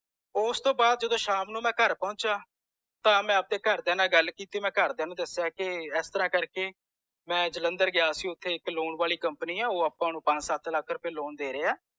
ਓਸ ਤੌਂ ਬਾਅਦ ਜਦੋ ਮੈਂ ਸ਼ਾਮ ਨੂੰ ਘਰੇ ਪੌਂਚੇਯਾ ਤਾਂ ਮੈਂ ਆਪਦੇ ਘਰਦਿਆਂ ਨਾਲ ਗੁਲ ਕੀਤੀ ਮੈਂ ਘਰਦਿਆਂ ਨੂੰ ਦੱਸਿਆ ਕੇ ਐੱਸਤਰਾਹ ਕਰਕੇ ਮੈਂ ਜਲੰਧਰ ਗਯਾ ਸੀ ਓਥੇ ਇਕ loan ਵਾਲੀ company ਆ ਓਹ ਅੱਪਾਂ ਨੂੰ ਪੰਜ ਸਤ ਲੱਖ ਰੁਪਏ loan ਦੇਰੇ ਹੈ